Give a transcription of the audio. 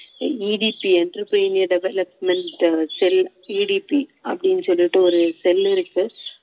EDC entrepreneur development cell EDC அப்படின்னு சொல்லிட்டு ஒரு cell இருக்கு